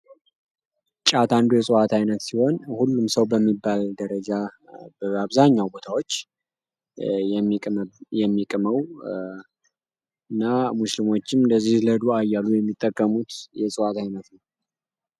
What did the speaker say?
ጫት አንዱ የሰብዓዊነት ሲሆን ሁሉም ሰው በሚባል ደረጃ አብዛኛው ቦታዎች የሚቀመው እና አንዳንድ ሰዎች ለዱዓ እያሉ የሚጠቀሙት የእጽዋት አይነት ነው።